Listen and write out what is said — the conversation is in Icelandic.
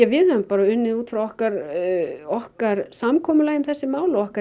við höfum bara unnið út frá okkar okkar samkomulagi um þessi mál og okkar